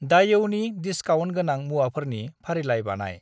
दायऔनि discount गोनां मुवाफोरनि फारिलाइ बानाय।